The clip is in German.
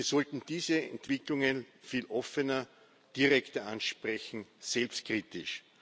Wir sollten diese Entwicklungen viel offener, direkter ansprechen, selbstkritisch.